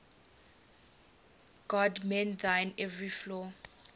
god mend thine every flaw